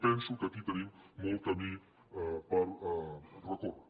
penso que aquí tenim molt camí per recórrer